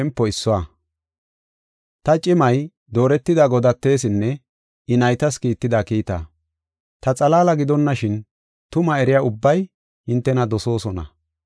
Ta cimay dooretida godatesinne I naytas kiitida kiita. Ta xalaala gidonashin, tumaa eriya ubbay hintena dosoosona.